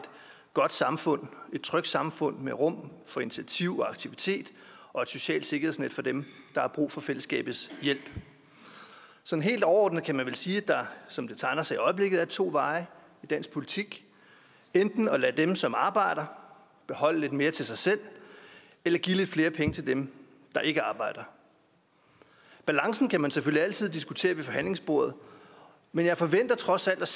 godt samfund et trygt samfund med rum for initiativ og aktivitet og et socialt sikkerhedsnet for dem der har brug for fællesskabets hjælp sådan helt overordnet kan man vel sige at der som det tegner sig i øjeblikket er to veje i dansk politik enten at lade dem som arbejder beholde lidt mere til sig selv eller give lidt flere penge til dem der ikke arbejder balancen kan man selvfølgelig altid diskutere ved forhandlingsbordet men jeg forventer trods alt